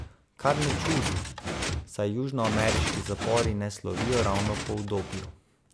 Kar ne čudi, saj južnoameriški zapori ne slovijo ravno po udobju.